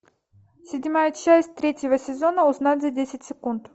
седьмая часть третьего сезона узнать за десять секунд